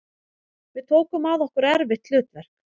Við tókum að okkur erfitt hlutverk